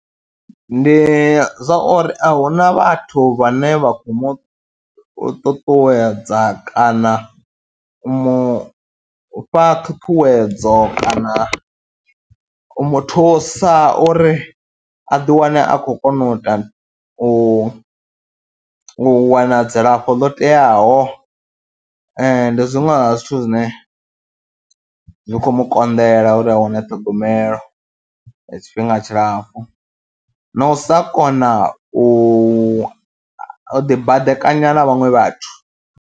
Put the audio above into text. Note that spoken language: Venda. Ndi zwa uri a hu na vhathu vhane vha khou mu ṱuṱuwedza kana u mu fha ṱhuṱhuwedzo kana u mu thusa uri a ḓiwane a khou kona u ita u u wana dzilafho ḽo teaho, ndi zwiṅwe zwa zwithu zwine zwi khou mu konḓela uri a wane ṱhogomelo ya tshifhinga tshilapfhu na u sa kona u u ḓibadekanya na vhaṅwe vhathu.